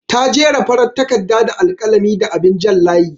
Ta jera farar takardar da alƙalami da abin jan layi.